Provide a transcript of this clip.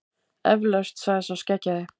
Eflaust, sagði sá skeggjaði.